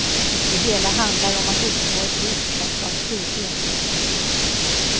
Det hela handlar om att uppnå ett visst mått av frihet.